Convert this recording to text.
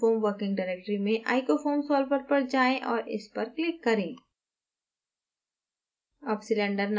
आपके openfoam working directory में icofoam solver पर जाएँ और इस पर click करें